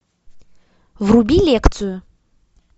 вруби лекцию